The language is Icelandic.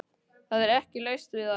Það er ekki laust við að